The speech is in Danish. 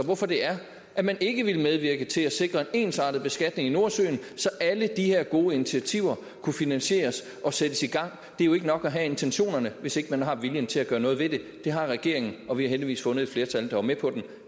hvorfor det er at man ikke ville medvirke til at sikre en ensartet beskatning i nordsøen så alle de her gode initiativer kunne finansieres og sættes i gang det er jo ikke nok at have intentionerne hvis ikke man har viljen til at gøre noget ved det det har regeringen og vi har heldigvis fundet et flertal der var med på det